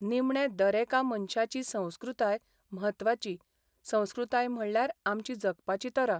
निमणे दरेका मनशाची संस्कृताय म्हत्वाची संस्कृताय म्हणल्यार आमची जगपाची तरा.